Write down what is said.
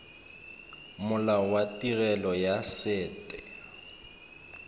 molao wa tirelo ya set